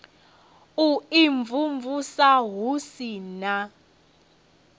u imvumvusa hu si na